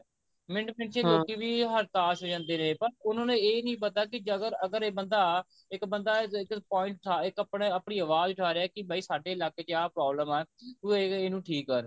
minute ਪਿੱਛੇ ਵੀ ਹਰਦਾਸ਼ ਹੋ ਜਾਂਦੇ ਨੇ ਪਰ ਉਹਨਾ ਨੂੰ ਇਹ ਨਹੀਂ ਪਤਾ ਕਿ ਅਗਰ ਇਹ ਬੰਦਾ ਇੱਕ ਬੰਦਾ ਇੱਕ point ਉਠਾ ਇੱਕ ਆਪਣੇ ਆਪਣੀ ਆਵਾਜ਼ ਉਠਾ ਰਿਹਾ ਕਿ ਬਈ ਸਾਡੇ ਇਲਾਕੇ ਚ ਆਹ problem ਹੈ ਤੂੰ ਇਹਨੂੰ ਠੀਕ ਕਰ